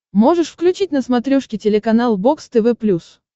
можешь включить на смотрешке телеканал бокс тв плюс